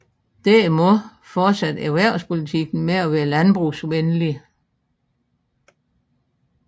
Derimod fortsatte erhvervspolitikken med at være landbrugsvenlig